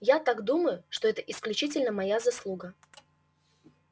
я так думаю что это исключительно моя заслуга